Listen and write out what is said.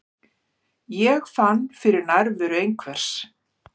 Ég fann fyrir nærveru einhvers.